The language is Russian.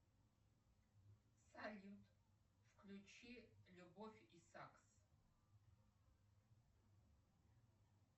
салют включи любовь и загс